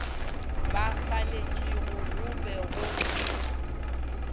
ba faletšego go be go